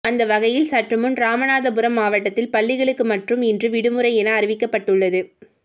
அந்த வகையில் சற்றுமுன் ராமநாதபுரம் மாவட்டத்தில் பள்ளிகளுக்கு மட்டும் இன்று விடுமுறை என அறிவிக்கப்பட்டுள்ளது